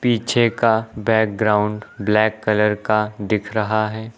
पीछे का background black colour का दिख रहा है।